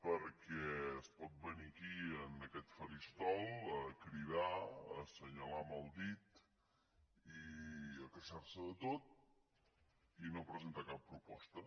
perquè es pot venir aquí en aquest faristol a cridar a assenyalar amb el dit i a queixar se de tot i no presentar cap proposta